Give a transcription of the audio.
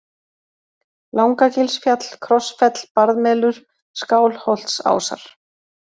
Langagilsfjall, Krossfell, Barðmelur, Skálholtsásar